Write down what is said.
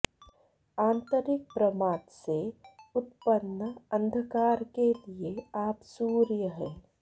आन्तरिक प्रमाद से उत्पन्न अन्धकार के लिए आप सूर्य हैं